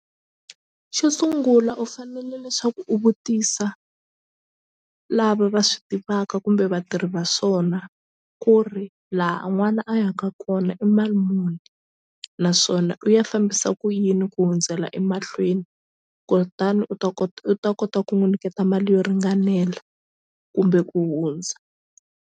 Xo sungula u fanele leswaku u vutisa lava va swi tivaka kumbe vatirhi va swona ku ri la n'wana a yaka kona i mali muni naswona u ya fambisa ku yini ku hundzela emahlweni kutani u ta kota u ta kota ku n'wu nyiketa mali yo ringanela kumbe ku hundza.